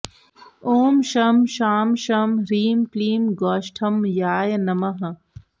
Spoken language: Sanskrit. ॐ शं शां षं ह्रीं क्लीं गोष्ठमयाय नमः